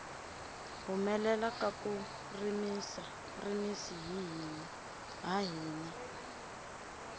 humelela ka ku rimisi ha hina